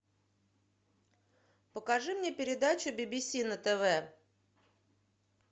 покажи мне передачу би би си на тв